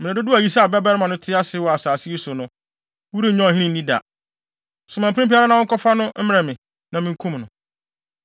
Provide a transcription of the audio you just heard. Mmere dodow a Yisai babarima no te ase wɔ asase yi so no, worennya ɔhene nni da. Soma mprempren ara na wɔnkɔfa no mmrɛ me, na minkum no!”